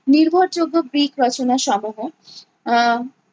নির্ভরযোগ্য গ্রিক রচনা সমূহ আহ